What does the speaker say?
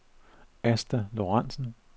Asta Lorentzen